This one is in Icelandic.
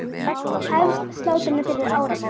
Hefst slátrun fyrir áramót.